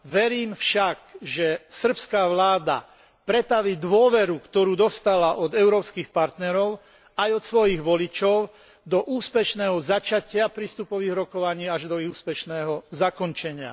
Verím však, že srbská vláda pretaví dôveru, ktorú dostala od európskych partnerov aj od svojich voličov, do úspešného začatia prístupových rokovaní až do ich úspešného zakončenia.